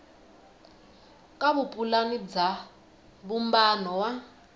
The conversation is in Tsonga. ka vupulani bya vumbano wa